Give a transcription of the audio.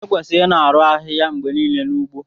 Ekwesịrị ịna-arụ ahịhịa mgbe niile n'ugbo